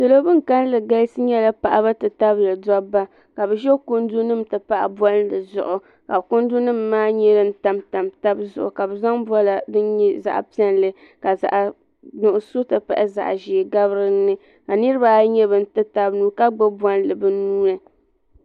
Salo bin ka kalli galisi nyɛla paɣaba ti tabili dobba ka bɛ ʒɛ kundu nima ti pahi bolli dizuɣu ka kundu nima maa tam tam tabizuɣu ka bɛ zaŋ bola din nyɛ zaɣa piɛlli ka zaɣa nuɣuso ti pahi zaɣa ʒee gabi dinni ka niriba ayi ti taba nuu ka gbibi bolli bɛ nuuni.